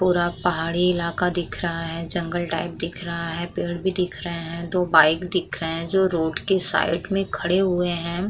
पूरा पहाड़ी इलाका दिख रहा है। जंगल टाइप दिख रहा है। पेड़ भी दिख रहें हैं। दो बाइक भी दिख रहें हैं जो रोड के साइड में खड़े हुए हैं।